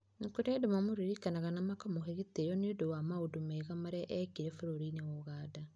Nĩ kũrĩ andũ mamũririkanaga na makamũhe gĩtĩo nĩ ũndũ wa maũndũ mega marĩa eekire bũrũri-inĩ wa Ũganda.